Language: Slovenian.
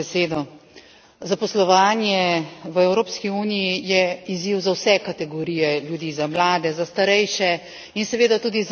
Zaposlovanje v Evropski uniji je izziv za vse kategorije ljudi za mlade, za starejše in seveda tudi za invalide.